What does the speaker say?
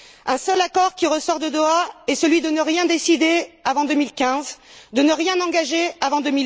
Le seul accord qui ressort de Doha est celui de ne rien décider avant 2015, de ne rien engager avant